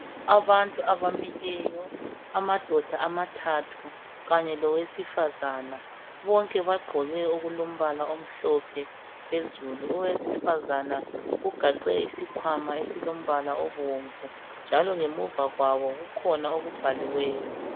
Abantu abamileyo, amadoda amathathu kanye lowesifazana, bonke bagqoke okulombala omhlophe phezulu. Owesifazana ugaxe isikhwama esilombala obomvu njalo ngemuva kwabo kukhona okubhaliweyo.